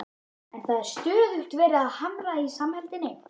En það var stöðugt verið að hamra á samheldninni.